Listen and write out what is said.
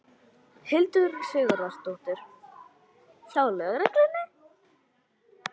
Hildur Sigurðardóttir: Hjá lögreglunni?